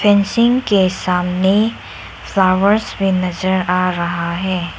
Machine के सामने flowers भी नजर आ रहा है।